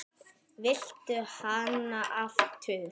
Viltu hana aftur?